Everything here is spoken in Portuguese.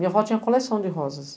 Minha avó tinha coleção de rosas.